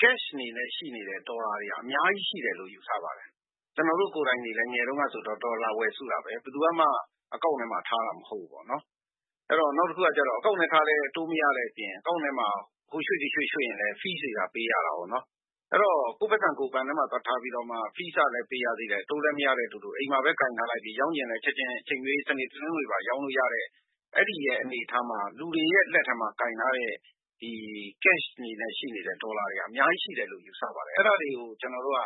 cash အနေနဲ့ ရှိနေတဲ့ ဒေါ်လာတွေက အများကြီး ရှိနေတယ်လို့ ယူဆပါတယ်။ကျနော်တို့ ကိုယ်တိုင်တွေလည်း ငယ်ငယ်တုန်းကဒေါ်လာဝယ်စုတာဘဲ။ နောက်တခုက Account ထဲထားလည်း အတိုးမရတဲ့အပြင် Account ထဲမှာ ဟိုရွှေ့ဒီရွှေ့ရွှေ့ရင် Fees တွေ ပေးရတာကို အဲတော့၊ ကိုယ့်ပိုက်ဆံကို ဘဏ်ထဲမှာသွားထားပီးတော့မှ fees ကလည်းပေးရသေးတယ် အတိုးလည်းမရမယ့်အတူတူ ရောင်းချင်လည်း ချက်ချင်း စနေ၊တနင်္ဂနွေပါ ရောင်းလို့ရတဲ့ အဲ့င်္ဒီအနေအထားမှာ လူတွေရဲ့ လက်ထဲမှာ ရှိနေတဲ့ Cash အနေနဲ့ ရှိနေတဲ့ ဒေါ်လာတွေဟာ အများကြီး ရှိတယ်လို့ ကျနေ်ာ ယူဆပါတယ်။ အဲ့ဒါတွေကို ကျနော်တို့က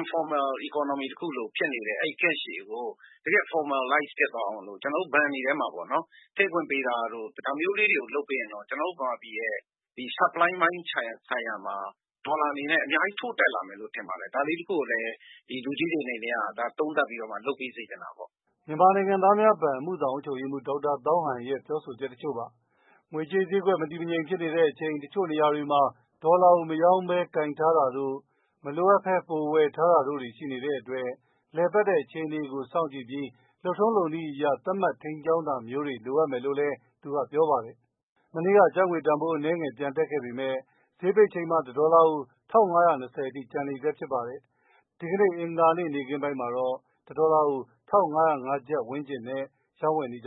informal economy လို ဖြစ်နေတဲ့ Cash တွေကို တကယ့် formalize ဖြစ်သွားအောင် ဘဏ်တွေထဲမှာ ထည့်ခွင့်ပေးတာတို့ ဒါမျိုးလေးတွေ လုပ်နိုင်မယ်ဆိုရင် ကျနော်တို့ နိုင်ငံအနေနဲ့ supply ပိုင်းဆိုင်ရာမှာ ဒေါ်လာအနေနဲ့ အများကြီး ထိုးတက်လာနိုင်မယ်လို့ ကျနော်ထင်ပါတယ်။ဒါလေးတစ်ခုကိုလည်း သုံးသပ်ပီးတော့မှ လူကြီးတွေအနေနဲ့က လုပ်စေ့ချင်တာပေါ့။" မြန်မာနိုင်ငံသားများဘဏ် အမှုဆောင် အုပ်ချုပ်ရေးမှူး ဒေါက်တာသောင်းဟန် ပြောပြသွားတာပါ။ ငွေကြေးဈေးကွက် မတည်မငြိမ်ဖြစ်တဲ့အချိန်မှာ တချို့နေရာတွေမှာ ဒေါ်လာကို မရောင်းဘဲနဲ့ ကိုင်ထားတာတို့၊ ပိုပြီးမှ ဝယ်ထားတာတို့ ရှိနေတဲ့အတွက် လည်ပတ်နေတဲ့အခြေအနေကို စောင့်ကြည့်ပြီး လုပ်ထုံးလုပ်နည်း အရ သတ်မှတ် ထိန်းကြောင်းတာမျိုးတွေ လိုအပ်မယ်လို့ ဒေါက်တာ သောင်းဟန်က ပြောပါတယ်။ မနေ့က ကျပ်ငွေတန်ဖိုး အနည်းငယ် ပြန်တက်ခဲ့ပေမဲ့ ဈေးပိတ်ချိန်မှာ တဒေါ်လာကို ၁၅၂၀ အထိ ကျန်နေဆဲဖြစ်ပါတယ်။ အဂါၤနေ့နေ့ခင်းပိုင်းမှာတော့ ၁၅၀၅ ကျပ်ဝန်းကျင်နဲ့ ရောင်းဝယ်နေကြ